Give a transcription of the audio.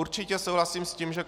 Určitě souhlasím s tím, že